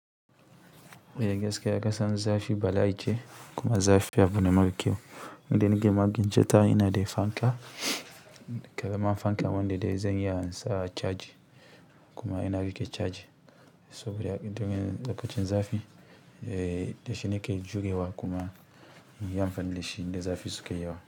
A gaskiya kasan zafi bala'i ce kuma zafi abu ne mara kyau. Inda nake magin ceta ina da fanka, ƙara man fanka wanda da dai zan iya sa caji kuma yana riƙe caji. Saboda indan nake lokacin zafi, eh, dashi nake juyewa kuma in yi amfani da shi, zafi suka yi yawa.